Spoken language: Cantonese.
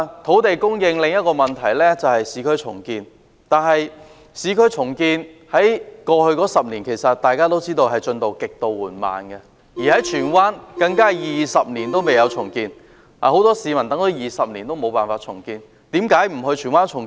土地供應的另一個問題是市區重建，但正如大家也知道，市區重建在過去10年進度極為緩慢，而荃灣更是20年來未有進行任何重建。